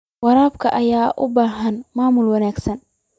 Waraabka ayaa u baahan maamul wanaagsan.